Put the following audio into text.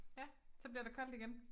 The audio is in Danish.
Ja så bliver der koldt igen